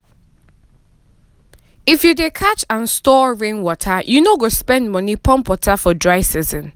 if you dey catch and store rainwater you no go spend money pump water for dry season.